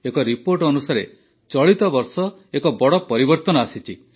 ଏକ ରିପୋର୍ଟ ଅନୁସାରେ ଚଳିତ ବର୍ଷ ଏକ ବଡ଼ ପରିବର୍ତନ ଆସିଛି